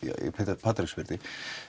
hjá Patreksfirði